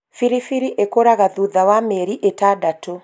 biribiri ĩkũraga thutha wa mĩeri ĩtandatũ